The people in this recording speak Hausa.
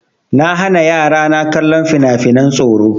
Na hana yara na kallon fina-finan tsoro.